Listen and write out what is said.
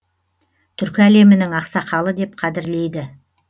түркі әлемінің ақсақалы деп қадірлейді